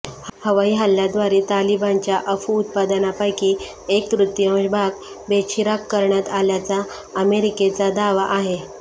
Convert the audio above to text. हवाई हल्ल्याद्वारे तालिबानच्या अफू उत्पादनापैकी एक तृतीयांश भाग बेचिराख करण्यात आल्याचा अमेरिकचा दावा आहे